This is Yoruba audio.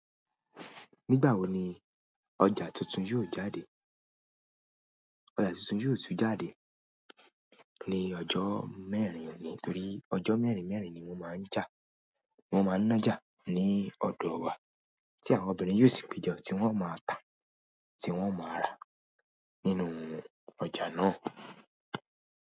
Nígbà wo ni ọjà tuntun yóò jáde? Ọjà tuntun yóò tún jáde ní ọjọ́ mẹ́rin òní torí ọjọ́ mẹ́rin mẹ́rin ni wọ́n máa ń jà, wọ́n máa ń nájà ní ọdọ wá tí àwọn obìnrin yio sì péjọ, tí wọ́n máa ta, tí wọ́n máa rà nínú ọjà náà.